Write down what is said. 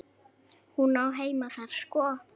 Hún á heima þar sko.